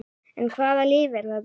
En hvaða lyf er þetta?